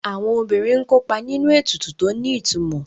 Àwọn obìnrin ń kópa nínú ètùtù tó ní ìtumò